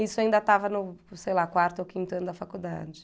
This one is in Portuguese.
Isso ainda estava no, sei lá, quarto ou quinto ano da faculdade.